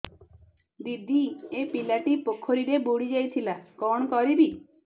ଦିଦି ଏ ପିଲାଟି ପୋଖରୀରେ ବୁଡ଼ି ଯାଉଥିଲା କଣ କରିବି